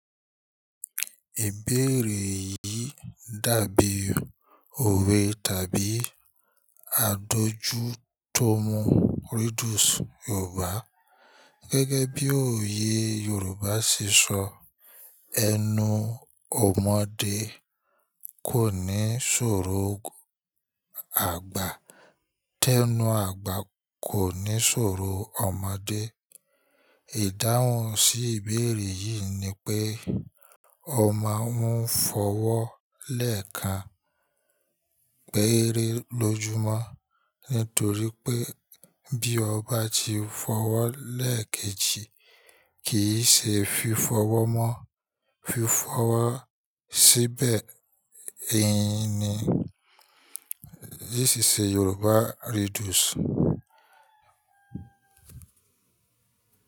Ìbéèrè yìí dàbí òwe tàbí àdojú tó mú riddles Yoruba. Gẹ́gẹ́ bí òye Yoruba ṣíṣọ, "Ẹnu ọmọdé kò ní ṣòro àgbà, tẹ́nu àgbà kò ní ṣòro ọmọdé." Ìdáhùn sí ìbéèrè yìí ni pé ọmọ mú fọwọ́ọ̀ lẹ́ẹ̀kan péré lójú mọ́, nítorí pé bí ọba ti fọwọ́ọ̀ lẹ́ẹ̀kejì, kì í ṣe fi fọwọ́ọ̀ mọ́ fi fọwọ́ọ̀ síbẹ̀. Èyi ni ìṣìṣẹ́ Yoruba riddles.